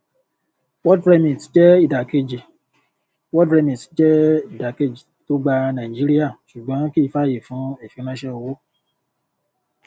world remit jẹ ìdàkejì world remit jẹ ìdàkejì tó gba nàìjíríà ṣùgbón kì í fàyè fún ìfiránṣẹ owó